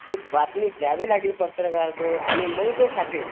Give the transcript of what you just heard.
ते बातमी द्यावी लागेल पत्रकारांजवळ आणि मग तो छापेल.